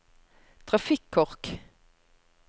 trafikkork